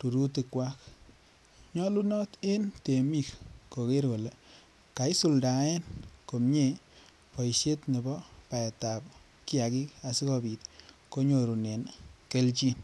rurutikwak nyolunot en temik koger kole kaisuldaen komie boishet nebo baetab kiagik asikopit konyorunen kelchin